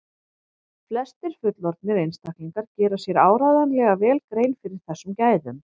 flestir fullorðnir einstaklingar gera sér áreiðanlega vel grein fyrir þessum gæðum